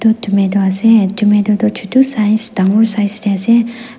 tomato ase tomato toh chotu size dangor size te ase.